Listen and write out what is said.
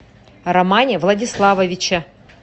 романе владиславовиче